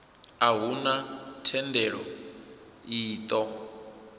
a huna thendelo i ṱo